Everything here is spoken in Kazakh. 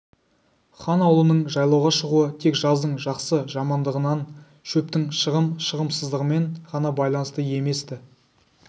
хан аулының жайлауға шығуы тек жаздың жақсы-жамандығынан шөптің шығым-шығымсыздығымен ғана байланысты емес-ті